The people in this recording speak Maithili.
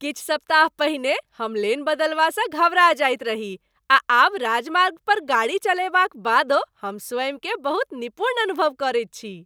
किछु सप्ताह पहिने हम लेन बदलबासँ घबरा जाइत रही आ आब राजमार्ग पर गाड़ी चलयबाक बादो हम स्वयंकेँ बहुत निपुण अनुभव करैत छी!